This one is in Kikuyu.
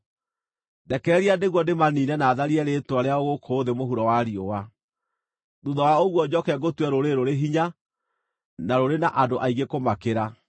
Ndekereria, nĩguo ndĩmaniine na tharie rĩĩtwa rĩao gũkũ thĩ mũhuro wa riũa. Thuutha wa ũguo njooke ngũtue rũrĩrĩ rũrĩ hinya na rũrĩ na andũ aingĩ kũmakĩra.”